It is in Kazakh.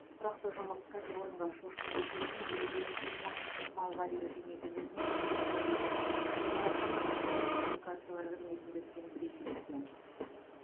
тұрақты жұмыс кәсіпорынға шошқа кешенін елуден жүз мың малға дейін кеңейтуге мүмкіндік берді деді өңір әкімі орталық коммуникациялар қызметінде өткен брифингте